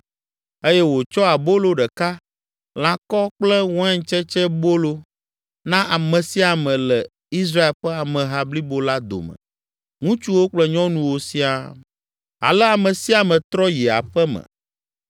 eye wòtsɔ abolo ɖeka, lãkɔ kple waintsetsebolo na ame sia ame le Israel ƒe ameha blibo la dome, ŋutsuwo kple nyɔnuwo siaa. Ale ame sia ame trɔ yi aƒe me.